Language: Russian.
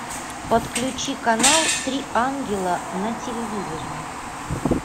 подключи канал три ангела на телевизоре